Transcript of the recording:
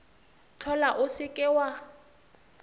hlola o se ke wa